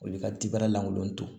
O y'i ka tibɛrɛ lankolon to